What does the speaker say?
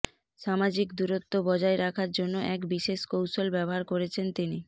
সামাজিক দূরত্ব বজায় রাখার জন্য এক বিশেষ কৌশল ব্যবহার করেছেন তিনি